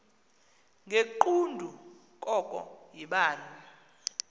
ngegqudu koko yibani